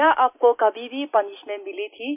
क्या आपको कभी भी पनिशमेंट मिली थी